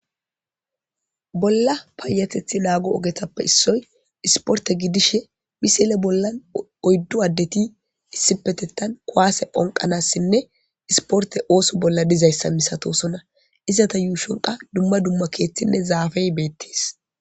Bolla paayatethi naago ogetappe issoy isporte gidishe misile bollan oyddu addeti issipetettan kwaase phonqanassinne isporte ooso bolla dizayssa misatosona izata yuushon qa dumma dumma keeththinne zaafey beettis.